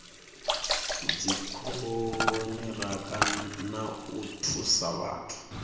dzikoniraka na u thusa vhathu